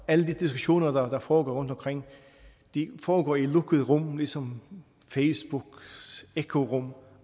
alle de diskussioner der foregår rundtomkring foregår i lukkede rum ligesom facebooks ekkorum